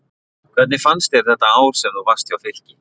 Hvernig fannst þér þetta ár sem þú varst hjá Fylki?